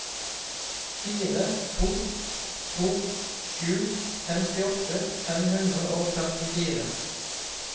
fire to to sju femtiåtte fem hundre og førtifire